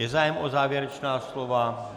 Je zájem o závěrečná slova?